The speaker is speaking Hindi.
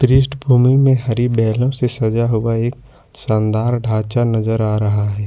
पृष्ठ भूमि में हरी बैलून से सजा हुआ एक शानदार ढांचा नजर आ रहा है।